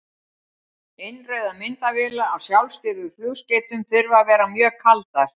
Innrauðar myndavélar á sjálfstýrðum flugskeytum þurfa að vera mjög kaldar.